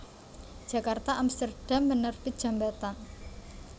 Djakarta Amsterdam Penerbit Djambatan